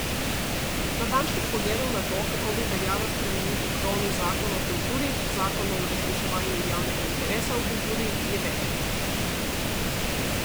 Natančnih pogledov na to, kako bi veljalo spremeniti krovni zakon o kulturi, zakon o uresničevanju javnega interesa v kulturi, je več.